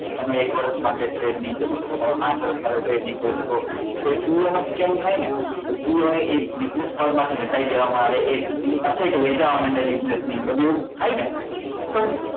કે તમે એક વર્ષ માટે trade નઈ કરી શકો તમે પાંચ વર્ષ માટે trade નઈ કરી શકો તો એ CA નો scan થાય ને તો CA ને એ business world માં થી હટાવી દેવા માં આવે બેસી એની બધું એવુ થાય ને